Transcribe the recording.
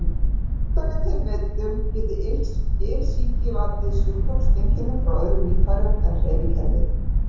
Í einstaka tilvikum getur iktsýki valdið sjúkdómseinkennum frá öðrum líffærum en hreyfikerfi.